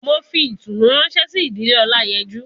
mo fi itunu ranse si idile olayeju